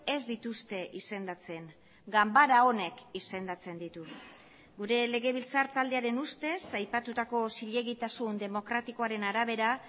ez dituzte izendatzen ganbara honek izendatzen ditu gure legebiltzar taldearen ustez aipatutako zilegitasun demokratikoaren arabera